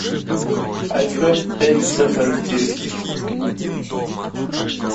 айфон пять ц характеристики